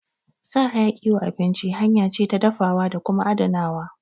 Sa hayaki wa abinci hanya ce ta dafawa da kuma adanawa